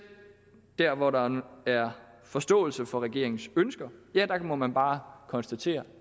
der hvor der er forståelse for regeringens ønsker må man bare konstatere